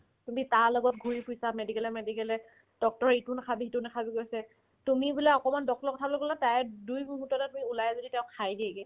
তুমি তাৰ লগত ঘূৰি ফুৰিছা medical য়ে medical য়ে doctor য়ে ইটো নাখাবি সিটো নাখাবি কৈ আছে তুমি বোলে অকমান doctor ৰ কথালে গ'লে তাইক দুই মুহুৰ্ততে তুমি ওলাই যদি তেওঁ খাই দিয়েগে